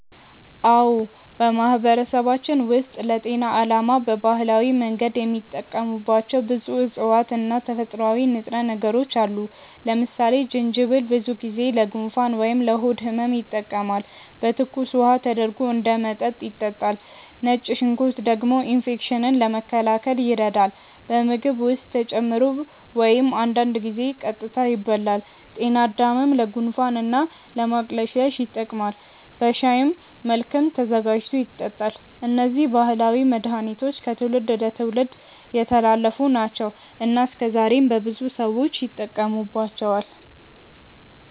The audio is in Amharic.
አዎ፣ በማህበረሰባችን ውስጥ ለጤና ዓላማ በባህላዊ መንገድ የሚጠቀሙባቸው ብዙ እፅዋት እና ተፈጥሯዊ ንጥረ ነገሮች አሉ። ለምሳሌ ጅንጅብል ብዙ ጊዜ ለጉንፋን ወይም ለሆድ ህመም ይጠቀማል፤ በትኩስ ውሃ ተደርጎ እንደ መጠጥ ይጠጣል። ነጭ ሽንኩርት ደግሞ ኢንፌክሽንን ለመከላከል ይረዳል፣ በምግብ ውስጥ ተጨምሮ ወይም አንዳንድ ጊዜ ቀጥታ ይበላል። ጤናድምም ለጉንፋን እና ለማቅለሽለሽ ይጠቀማል፤ በሻይ መልክም ተዘጋጅቶ ይጠጣል። እነዚህ ባህላዊ መድሃኒቶች ከትውልድ ወደ ትውልድ የተላለፉ ናቸው እና እስከዛሬም በብዙ ሰዎች ይጠቀሙባቸዋል።